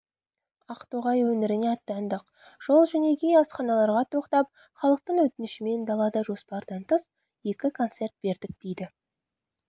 ақтоғай өңіріне аттандық жол-жөнекей асханаларға тоқтап халықтың өтінішімен далада жоспардан тыс екі концерт бердік дейді